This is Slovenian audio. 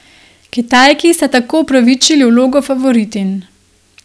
Kitajki sta tako upravičili vlogo favoritinj.